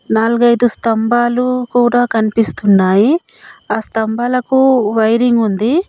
నాలుగైదు స్తంభాలు కూడా కన్పిస్తున్నాయి ఆ స్తంభాలకు వైరింగ్ ఉంది.